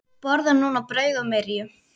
Borðar núna brauð og myrju.